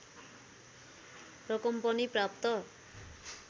रकम पनि प्राप्त